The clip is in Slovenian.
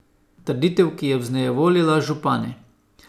Trditev, ki je vznevoljila župane.